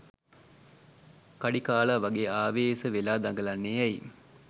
කඩි කාලා වගේ ආවේස වෙලා දඟලන්නෙ ඇයි?